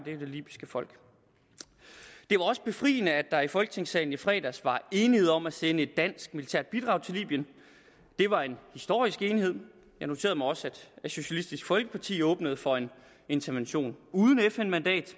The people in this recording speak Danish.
det libyske folk det er også befriende at der i folketingssalen i fredags var enighed om at sende et dansk militært bidrag til libyen det var en historisk enighed jeg noterede mig også at socialistisk folkeparti åbnede for en intervention uden fn mandat